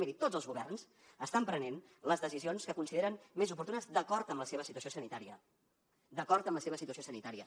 miri tots els governs estan prenent les decisions que consideren més oportunes d’acord amb la seva situació sanitària d’acord amb la seva situació sanitària